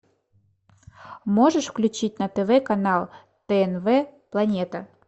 можешь включить на тв канал тнв планета